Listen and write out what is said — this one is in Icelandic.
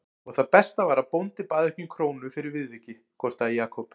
Og það besta var að bóndi bað ekki um krónu fyrir viðvikið gortaði Jakob.